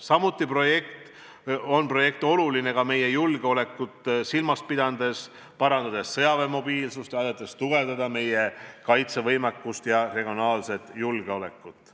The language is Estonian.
Samuti on see projekt oluline meie julgeolekut silmas pidades, sest parandab sõjaväe mobiilsust ja aitab tugevdada meie kaitsevõimet ja regionaalset julgeolekut.